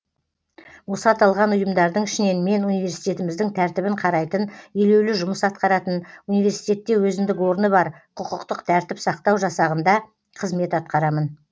осы аталған ұйымдардың ішінен мен университетіміздің тәртібін қарайтын елеулі жұмыс атқаратын университетте өзіндік орны бар құқықтық тәртіп сақтау жасағында қызмет атқарамын